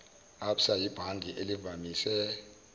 absa yibhange elivamise